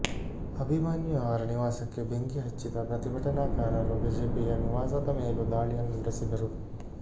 ಅಭಿಮನ್ಯು ಅವರ ನಿವಾಸಕ್ಕೆ ಬೆಂಕಿ ಹಚ್ಚಿದ ಪ್ರತಿಭಟನಾಕಾರರು ಐಜಿಪಿಯ ನಿವಾಸದ ಮೇಲೂ ದಾಳಿಯನ್ನು ನಡೆಸಿದರು